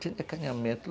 Tinha acanhamento.